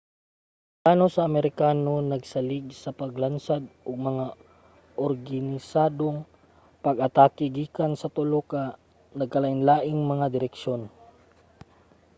ang plano sa amerikano nagsalig sa paglansad og mga organisadong pag-atake gikan sa tulo ka nagkalainlaing mga direksyon